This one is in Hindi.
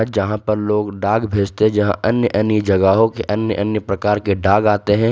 जहां पर लोग डाक भेजते हैं जहां अन्य अन्य जगहों के अन्य अन्य प्रकार के डॉग आते हैं।